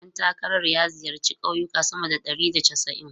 Ɗan takarar ya ziyarci kauyuka sama da ɗari da casa'in.